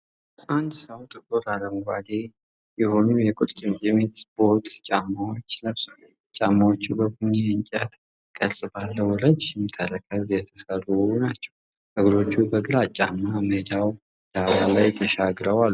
አንድ ሰው ጥቁር አረንጓዴ የሆኑ የቁርጭምጭሚት ቦት ጫማዎችን ለብሷል። ጫማዎቹ በቡኒ የእንጨት ቅርጽ ባለው ረዥም ተረከዝ የተሠሩ ናቸው። እግሮቹ በግራጫማ ሜዳው ዳራ ላይ ተሻግረው አሉ።